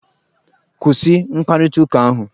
Kwụsị mkparịta ụka ahụ!